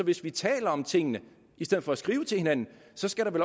hvis vi taler om tingene i stedet for at skrive til hinanden